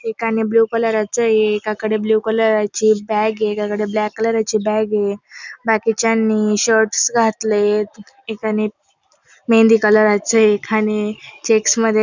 एकाने blue colour चे एकाकडे ब्लू कलरा ची बॅग ए एकाकडे ब्लॅक कलराची बॅग ए बाकीच्यांनी शर्ट घातलेत एकाने मेहंदी कलराचे एकाने चेक्स मध्ये --